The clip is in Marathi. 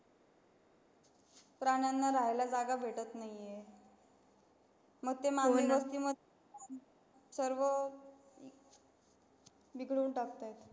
प्राण्यांना राहायला जागा भेटत नाही आहे सर्व घिऊन टाकतात